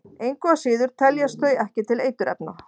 Engu að síður teljast þau ekki til eiturefna.